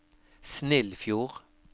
Snillfjord